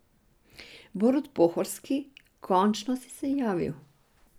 Borut Pohorski, končno si se javil.